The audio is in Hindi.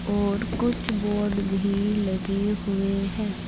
और कुछ बोर्ड भी लगे हुए हैं।